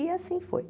E assim foi.